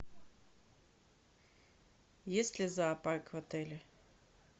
есть ли зоопарк в отеле